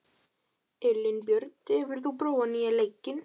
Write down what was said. Elínbjört, hefur þú prófað nýja leikinn?